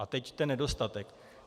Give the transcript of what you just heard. A teď ten nedostatek.